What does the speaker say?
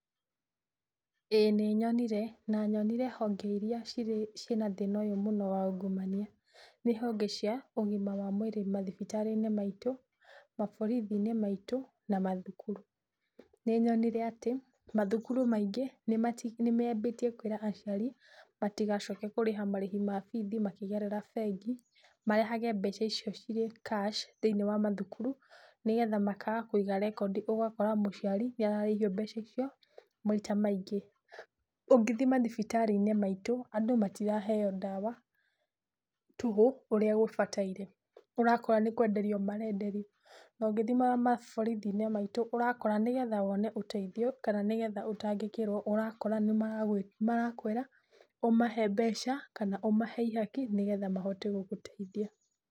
Ĩĩ nĩnyonire na nyonire honge iria cina thĩna ũyũ mũno wa ungumania ni honge cia ũgima wa mwĩri mathibitarĩ-inĩ maitũ, maborithi-inĩ maitũ na mathukuru. Nĩnyonire atĩ mathukuru maingĩ nĩmambĩtie kwĩra aciari matigacoke kũrĩha marĩhi ma bithi makĩgerera bengi marehage mbeca icio cirĩ cash thĩiniĩ wa mathukuru, nĩgetha makaaga kũiga record ũgakora mũciari nĩararĩhio mbeca icio maita maingĩ, ũngĩthiĩ mathibitarĩ-inĩ maitũ andũ matiraheo ndawa tũhũ ũrĩa gũbataire, ũrakora nĩkwenderio marenderio, no ngĩthiĩ maborithi-inĩ maitũ ũrakora, nĩgetha wone ũteithio kana nĩgetha ũtangikirwo ũrakora nĩmarakwĩra ũmahe mbeca kana ũmahe ihaki nĩgetha mahote gũgũteithia.